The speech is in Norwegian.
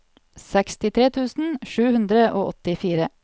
sekstitre tusen sju hundre og åttifire